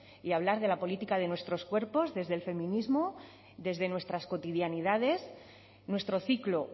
y hablar de la política de nuestros cuerpos desde el feminismo desde nuestras cotidianidades nuestro ciclo